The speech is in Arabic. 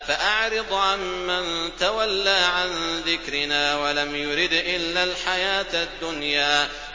فَأَعْرِضْ عَن مَّن تَوَلَّىٰ عَن ذِكْرِنَا وَلَمْ يُرِدْ إِلَّا الْحَيَاةَ الدُّنْيَا